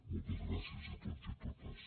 moltes gràcies a tots i a totes